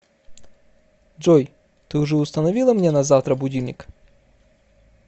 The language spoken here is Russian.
джой ты уже установила мне на завтра будильник